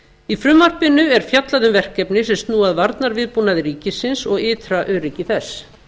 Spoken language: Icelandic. í frumvarpinu er fjallað um verkefni sem snúa að varnarviðbúnaði ríkisins og ytra öryggi þess